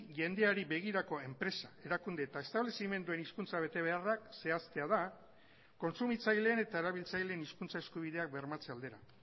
jendeari begirako enpresa erakunde eta establezimenduen hizkuntza betebeharrak zehaztea da kontsumitzaileen eta erabiltzaileen hizkuntza eskubideak bermatze aldera